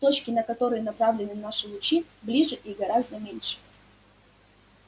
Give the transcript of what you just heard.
точки на которые направлены наши лучи ближе и гораздо меньше